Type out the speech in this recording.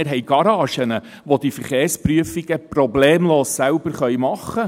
wir haben Garagen, welche die Verkehrsprüfungen problemlos machen können.